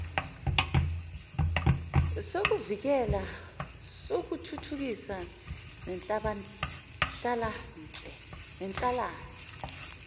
sokuvikela sokuthuthukisa nenhlalanhle